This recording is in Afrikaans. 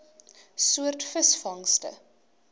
soort visvangste